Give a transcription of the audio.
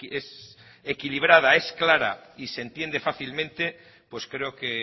es equilibrada es clara y se entiende fácilmente pues creo que